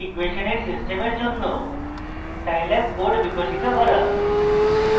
linear ইকুয়়েসনের সিস্টেমের জন্য scilab code বিকাশিত করা